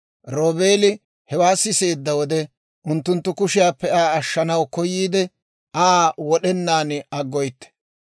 Roobeeli hewaa siseedda wode, unttunttu kushiyaappe Aa ashshanaw koyiide, «Aa wod'enaan aggoytte.